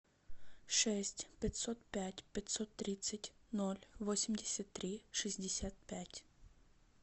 шесть пятьсот пять пятьсот тридцать ноль восемьдесят три шестьдесят пять